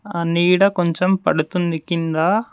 ఆ నీడ కొంచెం పడుతుంది కిందా.